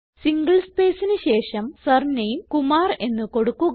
single സ്പേസിന് ശേഷം surname Kumar എന്ന് കൊടുക്കുക